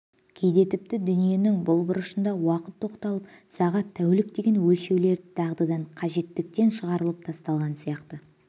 кейде тіпті дүниенің бұл бұрышында уақыт тоқталып сағат тәулік деген өлшеулер дағдыдан қажеттіктен шығарылып тасталған сияқты